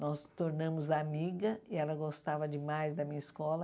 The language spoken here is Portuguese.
Nós nos tornamos amigas e ela gostava demais da minha escola.